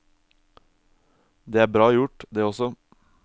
Det er bra gjort, det også.